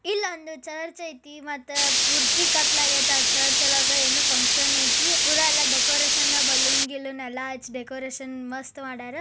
ಇಲ್ಲೊಂದು ಚರ್ಚ ಐತಿ ಮತ್ತ ಪೂರ್ತಿ ಕತ್ತಲಾಗೈತಿ ಆ ಚರ್ಚ್ ಒಳಗ. ಏನೋ ಫಂಕ್ಷನ್ ಐತಿ. ಪುರಾ ಯಲ್ಲಾ ಡೆಕೋರೇಷನ್ ಬಲೂನ್ ಗಿಲುನ್ ಯಲ್ಲಾ ಹಚ್ಚಿ ಡೆಕೋರೇಷನ್ ಮಸ್ತ್ ಮಾಡ್ಯಾರ.